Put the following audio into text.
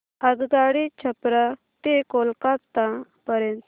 आगगाडी छपरा ते कोलकता पर्यंत